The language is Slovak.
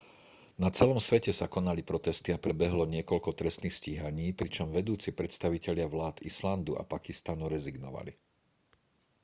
na celom svete sa konali protesty a prebehlo niekoľko trestných stíhaní pričom vedúci predstavitelia vlád islandu a pakistanu rezignovali